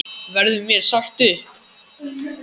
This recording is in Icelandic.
Verður mér sagt upp?